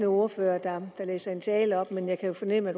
ordfører der læser en tale op men jeg kan jo fornemme at